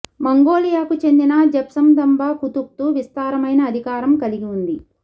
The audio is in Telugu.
మంగోలియాకు చెందిన జెబ్త్సందంబ ఖుతుఖ్తు విస్తారమైన అధికారం కలిగి ఉంది